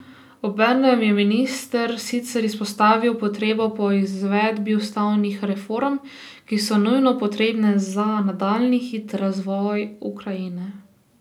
Obenem je minister sicer izpostavil potrebo po izvedbi ustavnih reform, ki so nujno potrebne za nadaljnji hiter razvoj Ukrajine.